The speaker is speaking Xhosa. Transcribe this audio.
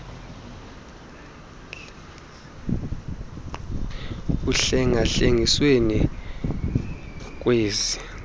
uhlenga hlengisiwe ngkwezi